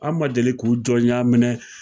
An' ma deli k'u jɔnya minɛ